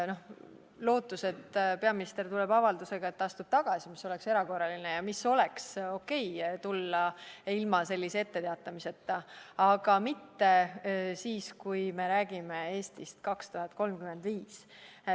lootus, et peaminister tuleb avaldusega, et ta astub tagasi – see oleks erakorraline ja siis oleks okei tulla ilma etteteatamiseta, aga mitte siis, kui me räägime "Eesti 2035-st".